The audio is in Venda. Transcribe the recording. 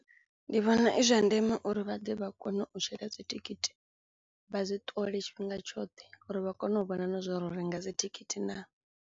Ndi vhona zwi zwa ndeme uri vha ḓe vha kone u tsheka dzithikhithi vha zwi ṱole tshifhinga tshoṱhe uri vha kone u vhona na zwouri ro renga dzithikhithi naa.